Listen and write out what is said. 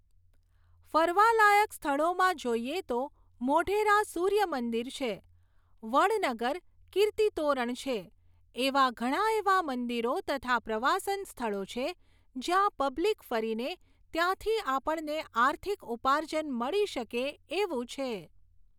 ફરવા લાયક સ્થળોમાં જોઈએ તો મોઢેરા સૂર્ય મંદિર છે, વડનગર કીર્તિતોરણ છે, એવા ઘણા એવા મંદિરો તથા પ્રવાસના સ્થળો છે, ત્યાં પબ્લિક ફરીને ત્યાંથી આપણને આર્થિક ઉપાર્જન મળી શકે એવું છે